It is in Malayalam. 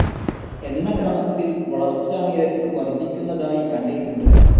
എന്ന ക്രമത്തിൽ വളർച്ചാനിരക്ക് വർദ്ധിക്കുന്നതായി കണ്ടിട്ടുണ്ട്.